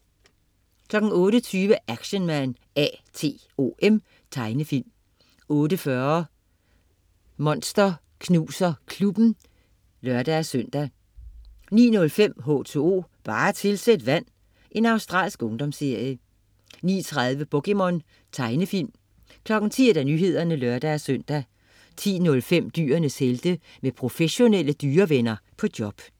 08.20 Action Man A.T.O.M. Tegnefilm 08.40 Monster Knuser Klubben (lør-søn) 09.05 H2O, bare tilsæt vand. Australsk ungdomsserie 09.30 POKéMON. Tegnefilm 10.00 Nyhederne (lør-søn) 10.05 Dyrenes helte. Med professionelle dyrevenner på job